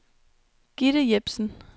Gitte Jepsen